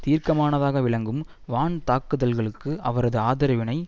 தீர்க்கமானதாக விளங்கும் வான் தாக்குதல்களுக்கு அவரது ஆதரவினை